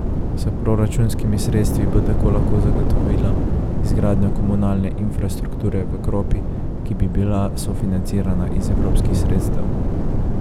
S proračunskimi sredstvi bo tako lahko zagotovila izgradnjo komunalne infrastrukture v Kropi, ki bi bila sofinancirana iz evropskih sredstev.